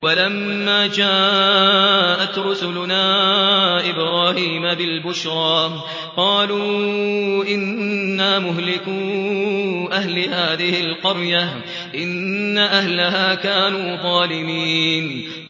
وَلَمَّا جَاءَتْ رُسُلُنَا إِبْرَاهِيمَ بِالْبُشْرَىٰ قَالُوا إِنَّا مُهْلِكُو أَهْلِ هَٰذِهِ الْقَرْيَةِ ۖ إِنَّ أَهْلَهَا كَانُوا ظَالِمِينَ